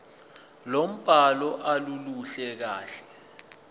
lombhalo aluluhle kahle